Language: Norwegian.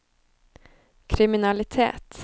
kriminalitet